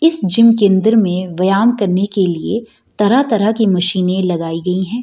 इस जिम के अंदर मे व्यायाम करने के लिए तरह-तरह के मशीने लगाई गई है।